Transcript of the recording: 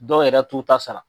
Dɔw yɛrɛ t'u ta sara.